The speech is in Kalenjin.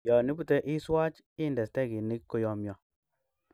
Yon ibute iswach inde stekinik koyomyo.